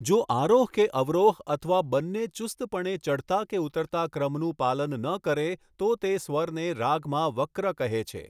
જો આરોહ કે અવરોહ અથવા બંને ચુસ્તપણે ચઢતા કે ઉતરતા ક્રમનું પાલન ન કરે તો તે સ્વરને રાગમાં વક્ર કહે છે.